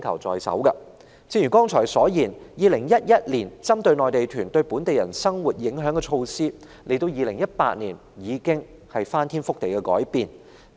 正如剛才所說 ，2011 年就內地團對本地人生活影響推出的措施，到了2018年已不合時宜。